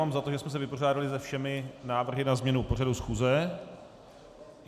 Mám za to, že jsme se vypořádali se všemi návrhy na změnu pořadu schůze.